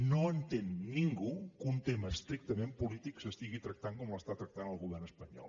no entén ningú que un tema estrictament polític s’estigui tractant com l’està tractant el govern espanyol